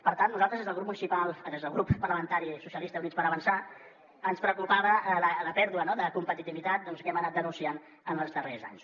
per tant a nosaltres des del grup parlamentari socialistes i units per avançar ens preocupava la pèrdua de competitivitat que hem anat denunciant en els darrers anys